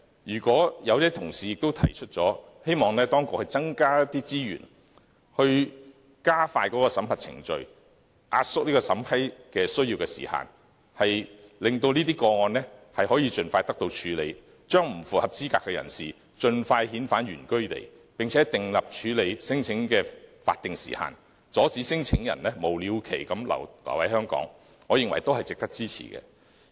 有些同事提出，希望當局增加資源加快審核程序，壓縮審批時限，令這些個案可以盡快得到處理，將不符合資格的人士盡快遣返原居地，並且訂立處理聲請的法定時限，阻止聲請申請人無了期留在香港，我認為都是值得支持的。